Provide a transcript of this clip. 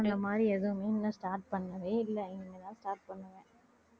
அந்த மாதிரி எதுவுமே இன்னும் start பண்ணவே இல்லை இனிமேதான் start பண்ணுவேன்